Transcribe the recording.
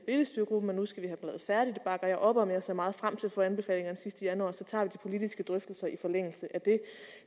bakker jeg op om og jeg ser meget frem til at få anbefalingerne sidst i januar så tager vi de politiske drøftelser i forlængelse af det